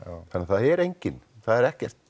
þannig að það er enginn það er ekkert